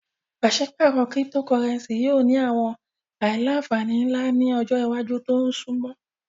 Paṣipaarọ Cyptocurrency yoo ni awọn aila-nfani nla ni ọjọ iwaju to sunmọ